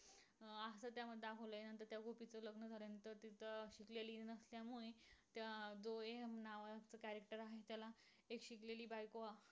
परंतु हे सर्व फायदे तज्ञ अ मजाजेष्टा कडूनच मिळू शकतात नसता, उपाय होण्या ऐवजी अपायच होईल .